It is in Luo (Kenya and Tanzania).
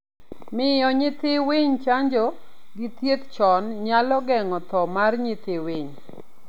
Miyo nyithii winy chanjo gi thieth chon nyalo geng'o tho mar nyithi winy